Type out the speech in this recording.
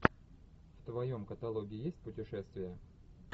в твоем каталоге есть путешествия